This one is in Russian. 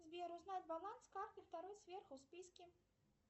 сбер узнать баланс карты второй сверху в списке